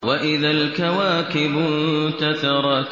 وَإِذَا الْكَوَاكِبُ انتَثَرَتْ